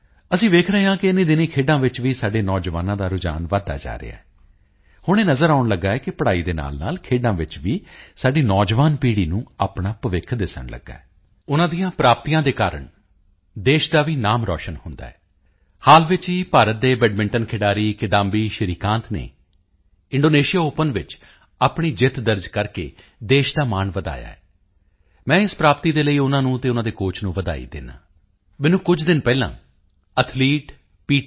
ਅਸੀਂ ਵੇਖ ਰਹੇ ਹਾਂ ਕਿ ਇਨੀਂ ਦਿਨੀਂ ਖੇਡਾਂ ਵਿੱਚ ਵੀ ਸਾਡੇ ਨੌਜਵਾਨਾਂ ਦਾ ਰੁਝਾਨ ਵਧਦਾ ਜਾ ਰਿਹਾ ਹੈ ਹੁਣ ਇਹ ਨਜ਼ਰ ਆਉਣ ਲੱਗਾ ਹੈ ਕਿ ਪੜ੍ਹਾਈ ਦੇ ਨਾਲਨਾਲ ਖੇਡਾਂ ਵਿੱਚ ਵੀ ਸਾਡੀ ਨੌਜਵਾਨ ਪੀੜ੍ਹੀ ਨੂੰ ਆਪਣਾ ਭਵਿੱਖ ਦਿਸਣ ਲੱਗਾ ਹੈ ਅਤੇ ਸਾਡੇ ਖਿਡਾਰੀਆਂ ਦੇ ਕਾਰਨ ਉਨ੍ਹਾਂ ਦੀ ਹਿੰਮਤ ਦੇ ਕਾਰਨ ਉਨ੍ਹਾਂ ਦੀਆਂ ਪ੍ਰਾਪਤੀਆਂ ਦੇ ਕਾਰਨ ਦੇਸ਼ ਦਾ ਵੀ ਨਾਮ ਰੋਸ਼ਨ ਹੁੰਦਾ ਹੈ ਹਾਲ ਵਿੱਚ ਹੀ ਭਾਰਤ ਦੇ ਬੈਡਮਿੰਟਨ ਖਿਡਾਰੀ ਕਿਦਾਂਬੀ ਸ਼੍ਰੀਕਾਂਤ ਨੇ ਇੰਡੋਨੇਸ਼ੀਆ ਓਪਨ ਵਿੱਚ ਆਪਣੀ ਜਿੱਤ ਦਰਜ ਕਰਕੇ ਦੇਸ਼ ਦਾ ਮਾਣ ਵਧਾਇਆ ਹੈ ਮੈਂ ਇਸ ਪ੍ਰਾਪਤੀ ਦੇ ਲਈ ਉਨ੍ਹਾਂ ਨੂੰ ਅਤੇ ਉਨ੍ਹਾਂ ਦੇ ਕੋਚ ਨੂੰ ਵਧਾਈ ਦਿੰਦਾ ਹਾਂ ਮੈਨੂੰ ਕੁਝ ਦਿਨ ਪਹਿਲਾਂ ਐਥਲੀਟ ਪੀ